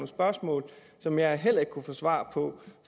spørgsmål som jeg heller ikke kunne få svar på